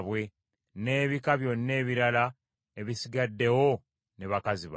n’ebika byonna ebirala ebisigaddeyo ne bakazi baabwe.